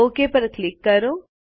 okay પર click કરો